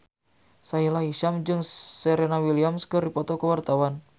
Sahila Hisyam jeung Serena Williams keur dipoto ku wartawan